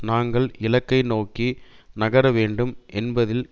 நாங்கள் இலக்கை நோக்கி நகர வேண்டும் என்பதில்